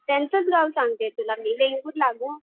त्यांचंच गाव सांगते तुला मी वेंगुर्ला गं.